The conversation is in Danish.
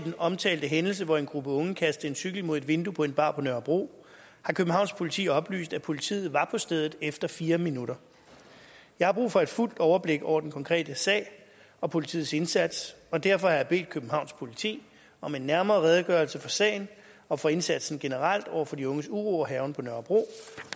omtalte hændelse hvor en gruppe unge kastede en cykel mod et vindue på en bar på nørrebro har københavns politi oplyst at politiet var på stedet efter fire minutter jeg har brug for et fuldt overblik over den konkrete sag og politiets indsats og derfor har jeg bedt københavns politi om en nærmere redegørelse for sagen og for indsatsen generelt over for de unges uro og hærgen på nørrebro